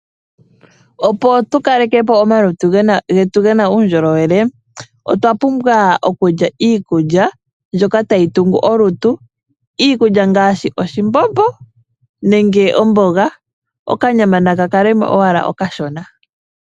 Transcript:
Opo tu kalekepo omalutu getu gena uundjolowele, otwa pumbwa okulya iikulya mbyoka tayi tungu olutu. Iikulya ngaashi oshimbombo, nenge omboga, okanyama naka kalemo owala okashona.